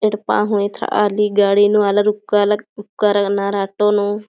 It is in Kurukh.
येड्पा हु येथरा ली गाड़ी नू आलर उक्का उक्का लग्नर ऑटो नू।